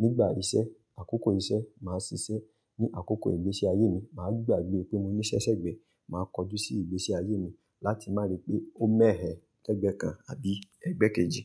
Nígbà iṣẹ́, àkókò iṣẹ́, màá ṣiṣẹ́. Ni àkókò ìgbésí ayé mi, màá gbàgbé pé mo níṣẹ́ṣẹ́gbẹ́. Màá kojú sí ìgbésí ayé mi láti má ri pé ó mẹ́ẹ̀ẹ́ lẹgbẹ́ kan àbí ẹgbẹ́ kejì.